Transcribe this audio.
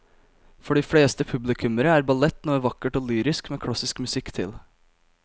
For de fleste publikummere er ballett noe vakkert og lyrisk med klassisk musikk til.